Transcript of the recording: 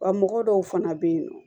Wa mɔgɔ dɔw fana bɛ yen nɔ